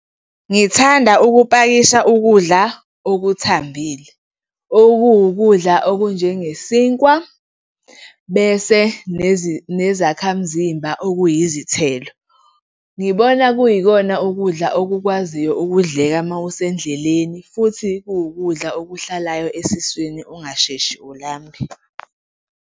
Ngithanda ukupakisha ukudla okuthambile, okuwukudla okunjengesinkwa bese nezakhamzimba okuyizithelo. Ngibona kuyikona ukudla okukwaziyo ukudleka uma usendleleni futhi kuwukudla okuhlalayo esiswini, ungasheshi ulambe.